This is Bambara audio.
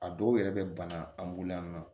A dɔw yɛrɛ bɛ bana an bolo yan nɔ